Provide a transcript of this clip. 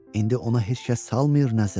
İndi ona heç kəs salmır nəzər.